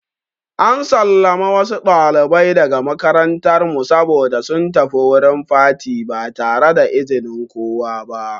An sallame wasu ɗalibai daga makarantar mu saboda sun tafi wurin fati ba tare da izinin kowa ba.